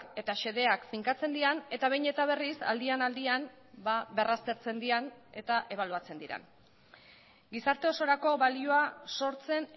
eta xedeak finkatzen diren eta behin eta berriz aldian aldian berraztertzen diren eta ebaluatzen diren gizarte osorako balioa sortzen